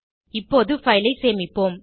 இப்போது பைல் ஐ சேமிப்போம்